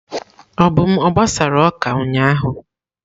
Obum a gbasara oka ụnyahụ?